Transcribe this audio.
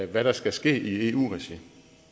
hvad der skal ske i eu regi